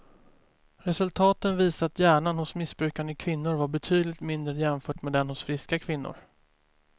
Resultaten visar att hjärnan hos missbrukande kvinnor var betydligt mindre jämfört med den hos friska kvinnor.